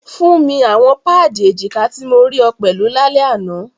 Fun mi awọn paadi ejika ti mo rii ọ pẹlu lalẹ ana!